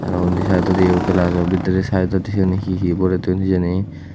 aro undi saaidodiyo gelajo bidirey saaidot syeni hi hi borey toyon hijeni.